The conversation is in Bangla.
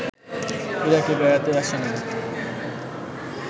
ইরাকে বেড়াতে আসেনি